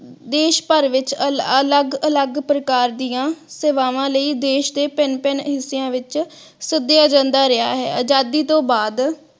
ਦੇਸ਼ ਭਰ ਵਿਚ ਅਲਗ ਅਲਗ ਪ੍ਰਕਾਰ ਦੀਆ ਸੇਵਾਵਾਂ ਲਈ ਦੇਸ਼ ਦੇ ਭਿੰਨ ਭਿੰਨ ਹਿਸਿਆਂ ਵਿਚ ਸੱਦਿਆ ਜਾਂਦਾ ਰਿਹਾ ਹੈ ।ਅਜਾਦੀ ਤੋਂ ਬਾਅਦ